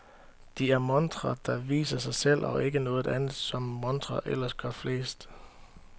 De er montrer, der viser sig selv og ikke noget andet, som montrer ellers gør flest.